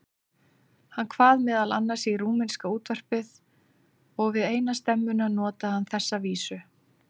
Hann kvað meðal annars í rúmenska útvarpið og við eina stemmuna notaði hann þessa vísu